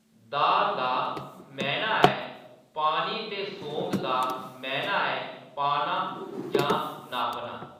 दाः दा मैह्‌‌‌ना ऐ पानी ते सोंग दा मैह्‌‌‌ना ऐ पाना जां नापना।